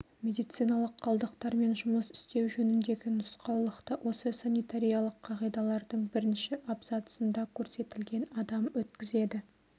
медициналық қалдықтармен жұмыс істеу жөніндегі нұсқаулықты осы санитариялық қағидалардың бірінші абзацында көрсетілген адам өткізеді